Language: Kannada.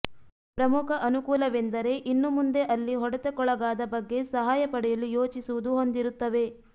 ಪ್ರಮುಖ ಅನುಕೂಲವೆಂದರೆ ಇನ್ನು ಮುಂದೆ ಅಲ್ಲಿ ಹೊಡೆತಕ್ಕೊಳಗಾದ ಬಗ್ಗೆ ಸಹಾಯ ಪಡೆಯಲು ಯೋಚಿಸುವುದು ಹೊಂದಿರುತ್ತವೆ